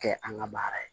Kɛ an ka baara ye